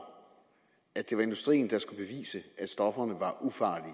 at det var industrien der skulle bevise at stofferne var ufarlige